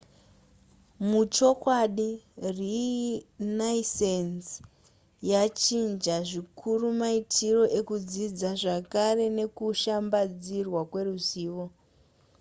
muchokwadi renaissance yachinja zvikurumaitiro ekudzidza zvakare nekushambadzirwa kweruzivo